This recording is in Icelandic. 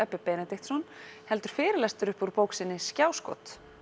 Ebbi fyrirlestur upp úr bók sinni skjáskot